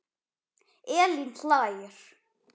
Elín hlær.